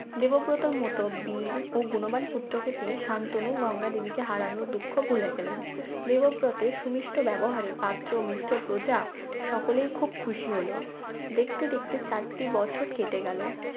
দেবব্রত র তোর মত বীর ও গুণ বান পুত্রকে পেয়ে সান্তনু গঙ্গা দেবীকে হারানোর দুঃখ ভুলে গেলেন দেবব্রতের সুমিষ্ট ব্যবহারএ পাত্র মিত্র প্রজা সকলেই খুব খুশি হলো দেখতে দেখতে চারটি বছর কেটে গেল